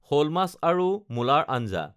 শ'ল মাছ আৰু মূলাৰ আঞ্জা